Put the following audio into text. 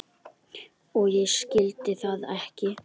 Og ég skildi það ekki.